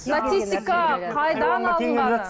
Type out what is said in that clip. статистика қайдан алынғаны